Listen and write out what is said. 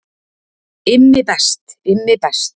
Immi best, Immi best.